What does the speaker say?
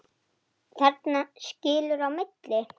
Stulli fór, Jón sat eftir.